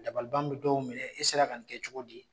Dabaliban bɛ dɔw minɛ i sera ka nin kɛ cogo di